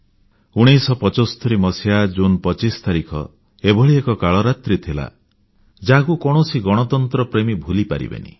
1975 ମସିହା ଜୁନ୍ 25 ତାରିଖ ଏଭଳି ଏକ କାଳରାତ୍ରୀ ଥିଲା ଯାହାକୁ କୌଣସି ଗଣତନ୍ତ୍ରପ୍ରେମୀ ଭୁଲି ପାରିବେନି